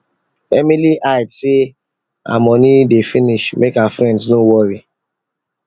emily hide say her money dey finish make her friends no worry